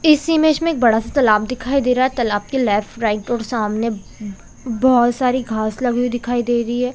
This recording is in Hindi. इस इमेज में एक बड़ा -सा तालाब दिखाई दे रहा है तालाब के लेफ्ट राइट और सामने उम -उम बहुत सारी घास लगे हुए दिखाई दे रही हैं ।